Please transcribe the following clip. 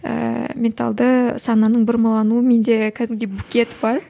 ііі менталды сананың бұрмалануы менде кәдімгідей букет бар